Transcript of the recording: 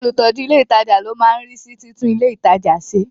Olùtọ́jú ilé ìtajà ló máa ń rí sí títún ilé ìtajà ṣe.